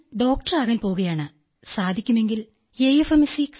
I'm going to become a doctor if possible in AFMC sir